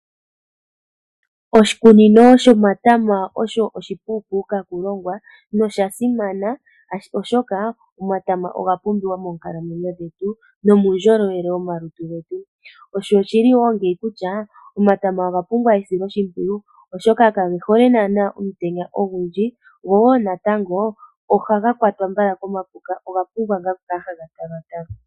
Oshikunino sho matama osho oshi puu puka okulongwa noshasimana oshoka, omatama oga pumbiwa moonkalamwenyo dhetu nomuundjolowele womalutu getu. Osho oshili woo ngeyi kutya, omatama oga pumbwa esilo shimpwiyu oshoka ka ge hole nana omutenya ogundji, go woo natango oha ga kwatwa mbala komapuka oga pumbwa ngaa oku kala ha ga talwa talwa.